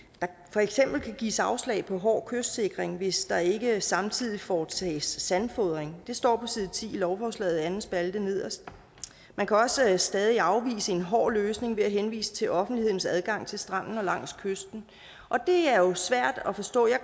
for eksempel kan gives afslag på hård kystsikring hvis der ikke samtidig foretages sandfodring det står side ti i lovforslaget anden spalte nederst man kan også stadig afvise en hård løsning ved at henvise til offentlighedens adgang til stranden og langs kysten og det er jo svært at forstå jeg